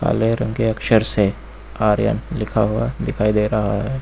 काले रंग के अक्षर से आर एन लिखा हुआ दिखाई दे रहा है।